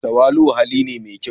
Tawali'u hali ne mai kyau.